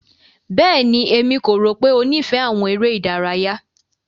Bẹ́ẹ̀ni, Emi ko ro pe o nifẹ awọn ere idaraya.